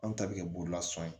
Anw ta bɛ kɛ bololasɔn ye